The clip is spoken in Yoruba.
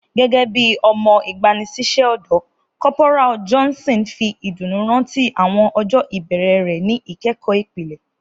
Gẹgẹbi ọmọ igbanisiṣẹ ọdọ, Corporal Johnson fi iduunu rántí awọn ọjọ ibẹrẹ rẹ ni ikẹkọ ipilẹ.